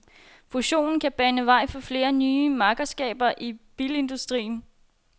Fusionen kan bane vejen for flere nye makkerskaber i bilindustrien.